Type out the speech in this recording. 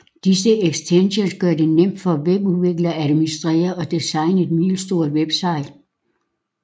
Disse ekstensions gør det nemt for webudviklere at administrere og designe et middelstort website